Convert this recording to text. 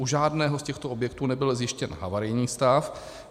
U žádného z těchto objektů nebyl zjištěn havarijní stav.